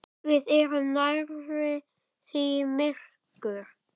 Við erum nærri því myrkur